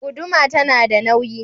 Guduma ta na da nauyi.